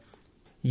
లేదా తుమ్మాలి